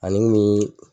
Ani bi